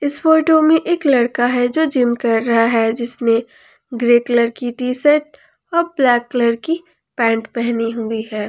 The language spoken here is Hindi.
इस फोटो में एक लड़का है जो जिम कर रहा है जिसने ग्रे कलर की टी शर्ट व ब्लैक कलर की पैंट पहनी हुई है।